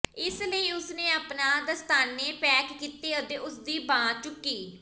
ਇਸ ਲਈ ਉਸ ਨੇ ਆਪਣਾ ਦਸਤਾਨੇ ਪੈਕ ਕੀਤੇ ਅਤੇ ਉਸਦੀ ਬਾਂਹ ਚੁੱਕੀ